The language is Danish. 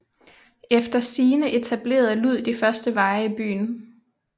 Efter sigende etablerede Lud de første veje i byen